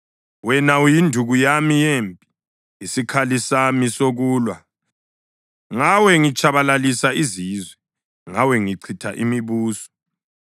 Wena uyinduku yami yempi, isikhali sami sokulwa ngawe ngitshabalalisa izizwe, ngawe ngichitha imibuso;